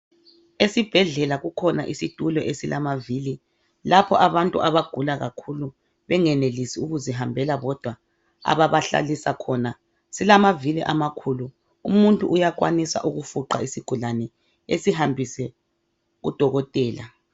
Esibhedlela kukhona isitulo esilamavili lapho abantu abagula kakhulu bengenelisi ukuzihambela bodwa ababahlalisa khona. Silamavili amakhulu umuntu uyakwanisa ukufuqa isigulane esihambise kadokotela.